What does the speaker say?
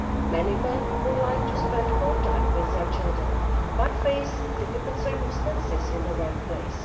Many men would like to spend more time with their children but face difficult circumstances in the workplace.